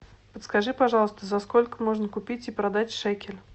подскажи пожалуйста за сколько можно купить и продать шекель